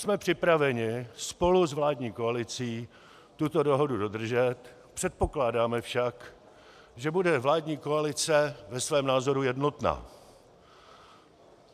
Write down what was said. Jsme připraveni spolu s vládní koalicí tuto dohodu dodržet, předpokládáme však, že bude vládní koalice ve svém názoru jednotná.